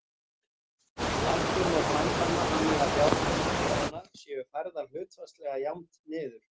Lækkun má framkvæma þannig að fjárhæðir bréfanna séu færðar hlutfallslega jafnt niður.